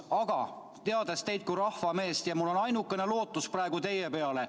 Aga teades teid kui rahvameest, on mul ainukene lootus praegu teie peale.